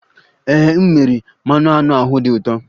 Ee, m mere, mmanụ aṅụ ahụ dị ụtọ